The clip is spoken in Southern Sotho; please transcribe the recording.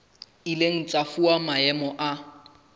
ileng tsa fuwa maemo a